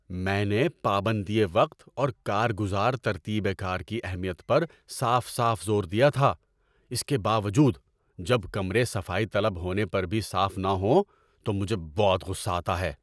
میں نے پابندیِ وقت اور کار گزار ترتیبِ کار کی اہمیت پر صاف صاف زور دیا تھا۔ اس کے باوجود، جب کمرے صفائی طلب ہونے پر بھی صاف نہ ہوں تو مجھے بہت غصہ آتا ہے۔